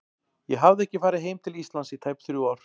Ég hafði ekki farið heim til Íslands í tæp þrjú ár.